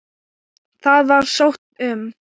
Það var sótt um.